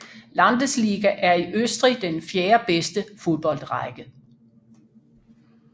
Landesliga er i Østrig den fjerdebedste fodboldrække